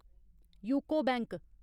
UCO bank